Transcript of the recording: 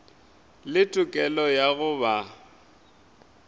le tokelo ya go ba